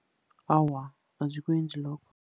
Awa, azikwenzi lokho.